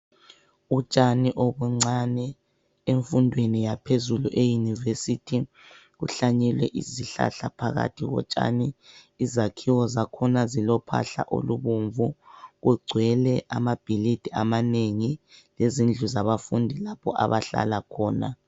Utshani obuncane emfundweni yaphezulu e yunivesith kuhlanyelwe izihlahla phakathi kotshani izakhiwo zakhona zilophahla olubomvu kugcwele amabhilidi amanengi lezindlu zabafundi lapho abahlala khona.